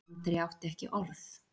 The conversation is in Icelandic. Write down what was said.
Andri átti ekki orð.